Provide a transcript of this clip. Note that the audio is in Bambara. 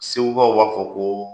Segu kaw b'a fɔ koo